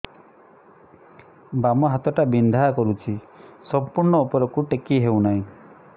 ବାମ ହାତ ଟା ବିନ୍ଧା କରୁଛି ସମ୍ପୂର୍ଣ ଉପରକୁ ଟେକି ହୋଉନାହିଁ